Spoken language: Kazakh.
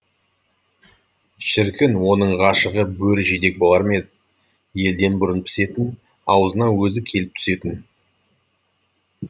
шіркін оның ғашығы бөрі жидек болар ма ед елден бұрын пісетін аузына өзі келіп түсетін